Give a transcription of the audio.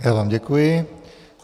Já vám děkuji.